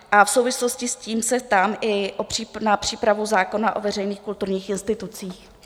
A v souvislosti s tím se ptám i na přípravu zákona o veřejných kulturních institucích.